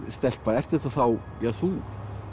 stelpa ert þetta þá þú